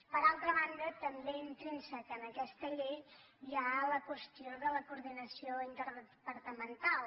per altra banda també intrínsec en aquesta llei hi ha la qüestió de la coordinació interdepartamental